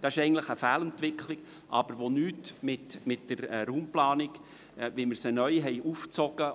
Das ist eine Fehlentwicklung, aber sie hat nichts mit der neu aufgegleisten Raumplanung zu tun, und sie hat